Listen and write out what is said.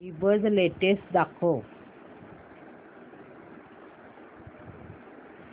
ईबझ लेटेस्ट दाखव